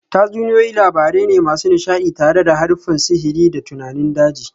Tatsuniyoyi labarai ne masu nishadi tare da haruffan sihiri da tunanin daji